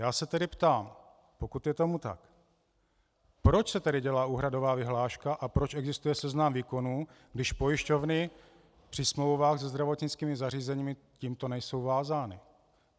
Já se tedy ptám, pokud je tomu tak, proč se tedy dělá úhradová vyhláška a proč existuje seznam výkonů, když pojišťovny při smlouvách se zdravotnickými zařízeními tímto nejsou vázány.